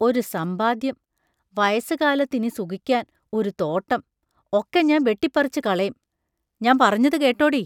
ഒരു സമ്പാദ്യം; വയസ്സുകാലത്ത് ഇനി സുകിക്കാൻ ഒരു തോട്ടം ഒക്കെ ഞാൻ ബെട്ടിപ്പറിച്ചുകളേം ഞാമ്പറഞ്ഞതു കേട്ടോടീ?